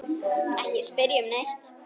Ekki spyrja um neitt.